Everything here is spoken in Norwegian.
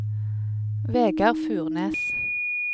Vegard Furnes